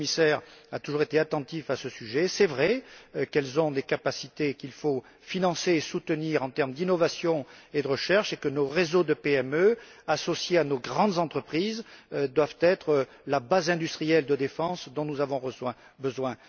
Le commissaire a toujours été attentif à ce point. Il est vrai qu'elles ont des capacités qu'il faut financer et soutenir en termes d'innovation et de recherche, et que nos réseaux de PME, associés à nos grandes entreprises, doivent être la base industrielle de défense dont nous avons besoin.